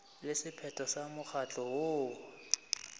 le sephetho sa mokgatlo woo